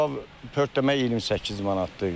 Kabab pörtləmə 28 manatdır.